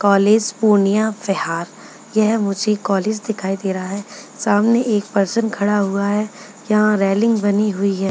College Purnia Bihar यह मुझे college दिखाई दे रहा है सामने एक पर्सन खड़ा हुआ है जहाँ रेलिंग बनी हुई है।